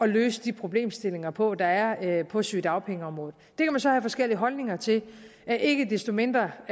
løse de problemstillinger på der er på sygedagpengeområdet det kan man så have forskellige holdninger til men ikke desto mindre